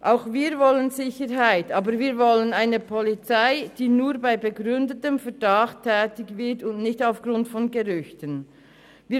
Auch wir wollen Sicherheit, aber wir wollen eine Polizei, die nur bei begründetem Verdacht und nicht aufgrund von Gerüchten tätig wird.